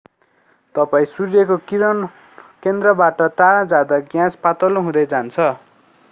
तपाईं सूर्यको केन्द्रबाट टाढा जाँदा ग्यास पातलो हुँदै जान्छ